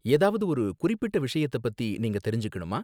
ஏதாவது ஒரு குறிப்பிட்ட விஷயத்த பத்தி நீங்க தெரிஞ்சுக்கணுமா?